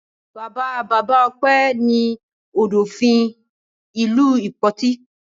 Bàbá-bàbá Ọpẹ́ ní Ọ̀dọ̀fin ìlú Ìpoti.